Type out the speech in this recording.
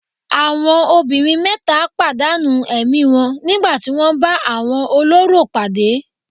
Àwọn obìnrin mẹ́ta padà nù ẹ̀mí wọn nígbà tí wọ́n bá àwọn olórò pàdé.